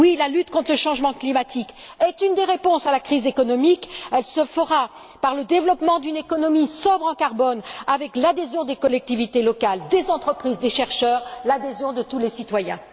Oui, la lutte contre le changement climatique est une des réponses à la crise économique. Elle se fera par le développement d'une économie sobre en carbone, avec l'adhésion des collectivités locales, des entreprises, des chercheurs, l'adhésion de tous les citoyens.